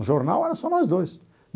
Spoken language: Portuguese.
O jornal era só nós dois.